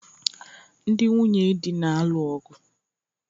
Ndị nwunye dị na-alụ ọgụ